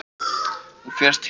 Hún fer til hans.